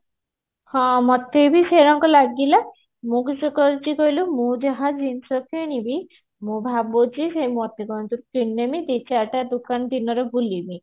ହଁ ମତେ ବି ସେଇଆ ଲାଗିଲା ମୁଁ କିସ କରିଛି କହିଲୁ ମୁଁ ଯାହା ଜିନିଷ କିଣିବି ମୁଁ ଭାବୁଛି ସେ ମୋତିଗଞ୍ଜ ରୁ କିଣିନେବି ଦିଚାରିଟା ଦୋକାନ ଦିନରେ ବୁଲିବି